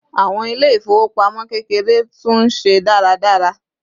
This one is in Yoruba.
àwọn ilé ifowopamọ kekere tú n se dáradára